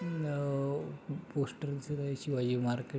न अ पोस्टरच गय शिवाजी मार्केट --